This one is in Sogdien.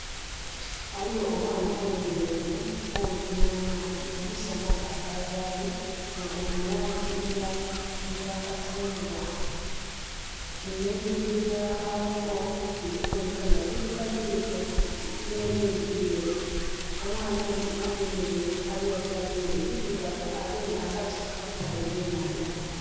Ghaligho omwami ayemeleire kumpi nh'amaadhi. Omusana gwakavaayo nga guli mu laangi eya eya kakyungwa. Nhebileri byagwo bili kuboneka nga birugavu irugavu, nh'ebindhi byeeru. Omwami onho ayemeleire ali oti availe birugavu agemye akati akavuba ebyenhanda.